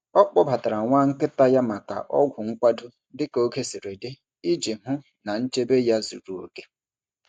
Ọ kpọbatara nwa nkịta ya maka ọgwụ nkwado dị ka oge siri dị iji hụ na nchebe ya zuru oke.